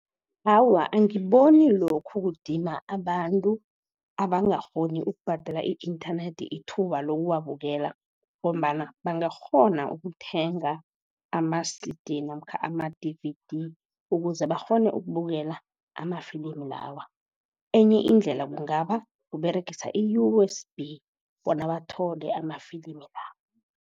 Awa, angiboni lokhu kudima abantu abangakghoni ukubhadela i-inthanethi ithuba lokuwabukela. Ngombana bangakghona ukuthenga ama-C_D namkha ama-D_V_D, ukuze bakghone ukubukela amafilimi lawa. Enye indlela kungaba kuberegisa i-U_S_B bona bathole amafilimi la.